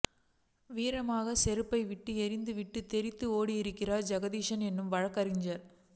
வீரமாகச் செருப்பை விட்டு எறிந்துவிட்டுத் தெறித்து ஓடியிருக்கிறார் ஜெகதீசன் என்னும் வழக்கறிஞர்